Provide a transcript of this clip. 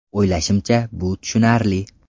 O‘ylashimcha, bu tushunarli.